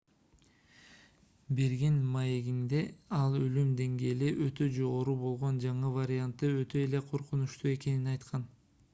берген маегинде ал өлүм деңгээли өтө жогору болгон жаңы варианты өтө эле коркунучтуу экенин айткан